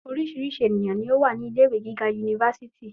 Oríṣìíríṣìí ènìyàn ló wà ní ilé-iwe giga yunifásítì.